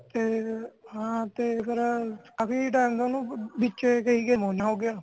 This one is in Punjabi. ਓਥੇ ਹਨ ਤੇ ਫੇਰ ਅਭੀ ਤਾ ਵਿਚ ਫੇਰ ਓਹਨੂੰ ਨਿਮੋਨੀਆ ਹੋਗਿਆ